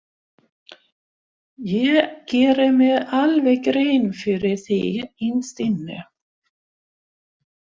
Ég geri mér alveg grein fyrir því innst inni.